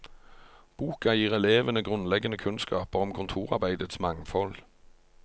Boka gir elevene grunnleggende kunnskaper om kontorarbeidets mangfold.